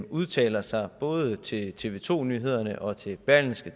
udtaler sig både til tv to nyhederne og til berlingske